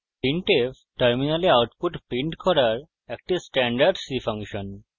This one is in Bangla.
printf terminal output printf করার একটি standard c ফাংশন